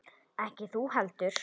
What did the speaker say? Ekki þú heldur.